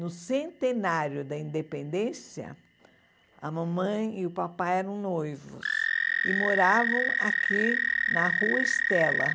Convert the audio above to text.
No centenário da Independência, a mamãe e o papai eram noivos e moravam aqui na Rua Estela.